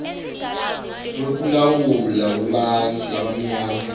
wekulawulwa kwebantfu labamnyama